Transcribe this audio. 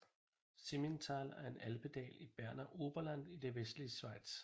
Simmental er en alpedal i Berner Oberland i det vestlige Schweiz